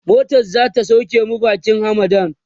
motan zata sauke mu bakin hamadan